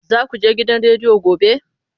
Za ku je gidan rediyo gobe?